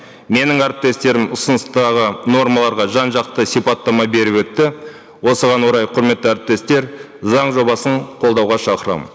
менің әріптестерім ұсыныстағы нормаларға жан жақты сипаттама беріп өтті осыған орай құрметті әріптестер заң жобасын қолдауға шақырамын